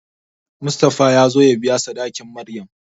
Mustapha ya zo ya biya sadakin Maryam.